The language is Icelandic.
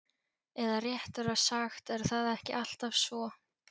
Eða réttara sagt er það ekki alltaf svo?